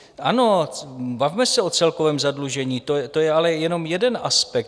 Ano, bavme se o celkovém zadlužení, to je ale jenom jeden aspekt.